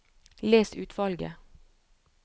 Les utvalget